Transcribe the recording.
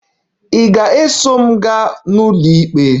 Ị ga-eso m gaa n'ụlọikpe?